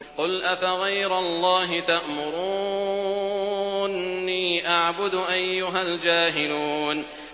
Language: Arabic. قُلْ أَفَغَيْرَ اللَّهِ تَأْمُرُونِّي أَعْبُدُ أَيُّهَا الْجَاهِلُونَ